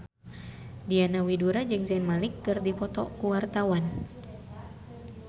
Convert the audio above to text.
Diana Widoera jeung Zayn Malik keur dipoto ku wartawan